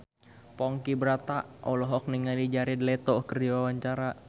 Ponky Brata olohok ningali Jared Leto keur diwawancara